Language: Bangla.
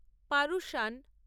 পারুশান